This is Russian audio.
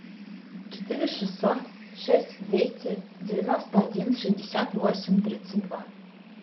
четыре шестьсот шесть двести девяносто один шестьдесят восемь тридцать два